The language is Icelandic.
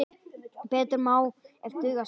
Betur má ef duga skal!